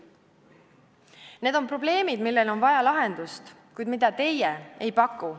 Need on probleemid, millele on vaja lahendust, kuid mida teie ei paku.